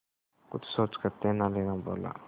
कुछ सोचकर तेनालीराम बोला